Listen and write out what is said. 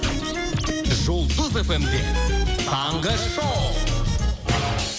жұлдыз эф эм де таңғы шоу